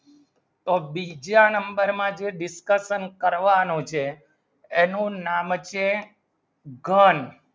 તો બીજા number માં જે discussion કરવાનું છે એનું નામ કે ઘણ